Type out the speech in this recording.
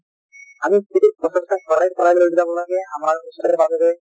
আৰু যদি প্ৰচেষ্টা চলাই চলাই লৈ যাব লাগে আমাৰ ওচৰে পাজৰে